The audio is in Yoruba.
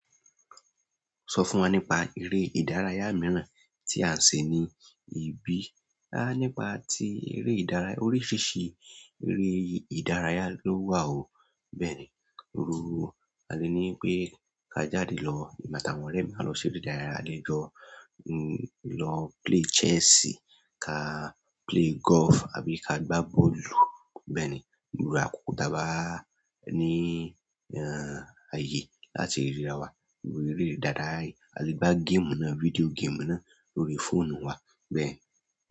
Sọ fún wa nípa eré ìdárayá mìíràn tí a lè ṣe ní ibí. A nípa tí eré ìdárayá oríṣiríṣi eré ìdárayá ló wà o. Bẹ́ẹ̀ni, írú á lé ní pé ká jáde lọ, emi àti àwọn ọ̀rẹ́ mi a lọ ṣe eré ìdárayá. A lè lọ, lọ play chess, ká play golf àbí ká gbá bọ́ọ̀lù. Bẹ́ẹ̀ni, írú àkókò t'a bá ní ayé láti ríra wa, eré dáadáa yìí. A lè gbá game náà, video game náà lórí fóònù wa bẹ́ẹ̀.